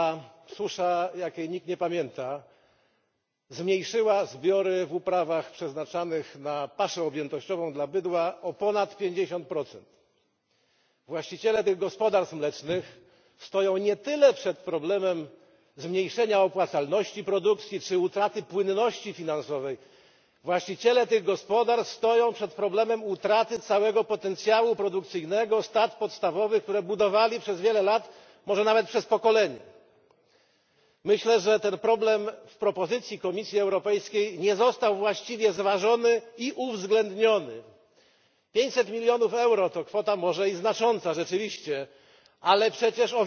Panie Przewodniczący! Panie Komisarzu! W regionie Polski, z którego pochodzę, susza, jakiej nikt nie pamięta, zmniejszyła zbiory w uprawach przeznaczanych na paszę objętościową dla bydła o ponad pięćdziesiąt procent. Właściciele tych gospodarstw mlecznych stoją nie tyle przed problemem zmniejszenia opłacalności produkcji czy utraty płynności finansowej właściciele tych gospodarstw stoją przed problemem utraty całego potencjału produkcyjnego stad podstawowych, które budowali przez wiele lat, może nawet przez pokolenia. Myślę, że ten problem w propozycji Komisji Europejskiej nie został właściwie zważony i uwzględniony. Pięćset milionów euro to może i rzeczywiście znacząca kwota, ale przecież